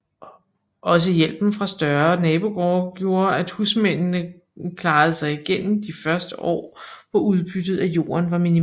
Også hjælpen fra større nabogårde gjorde at husmændene klarede sig igennem de førte år hvor udbyttet af jorden var minimalt